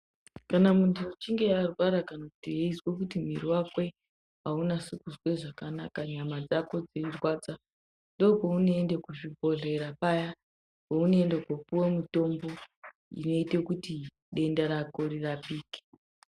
Kana muntu achinge arwara kana kuti eizwa kuti mwiri wake aunyatsi kuzwa zvakanaka nyama dzako dzeirwadza ndopaunoenda kuzvibhodhlera paunoenda kundopuwa mutombo unoita kuti denda rako rirapike.